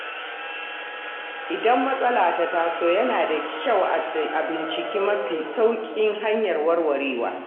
Idan matsala ta taso, yana da kyau a bincika mafi sauƙin hanyar warwarewa.